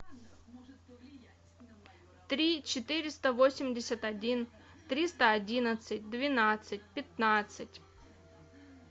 три четыреста восемьдесят один триста одиннадцать двенадцать пятнадцать